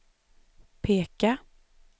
peka